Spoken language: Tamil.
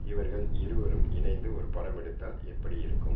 இவர்கள் இருவரும் இணைந்து ஒரு படம் கொடுத்தால் எப்படியிருக்கும்